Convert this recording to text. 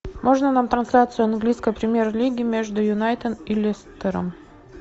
можно нам трансляцию английской премьер лиги между юнайтед и лестером